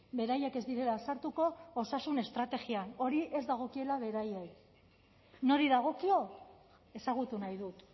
beraiek ez direla sartuko osasun estrategian hori ez dagokiela beraiei nori dagokio ezagutu nahi dut